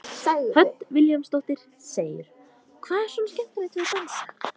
Hödd Vilhjálmsdóttir: Hvað er svona skemmtilegt við að dansa?